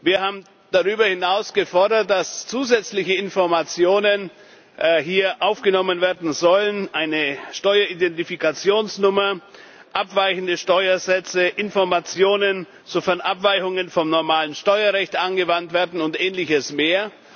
Wir haben darüber hinaus gefordert, dass hier zusätzliche Informationen aufgenommen werden sollen eine Steuer Identifikationsnummer, abweichende Steuersätze, Informationen, sofern Abweichungen vom normalen Steuerrecht angewandt werden, und ähnliches mehr.